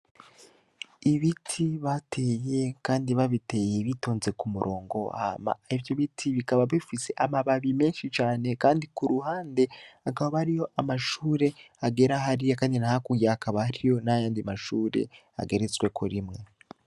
Ibiti bateye kandi babiteye bitonze k'umurongo hama ivyobiti bikaba bifise amababi meshi cane kandi k'uruhande hakaba hariyo amashure agera hariya kandi nohakurya hakaba hariyo n'ayandi mashure ageretsweko rimwe.